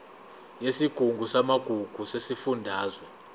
yesigungu samagugu sesifundazwe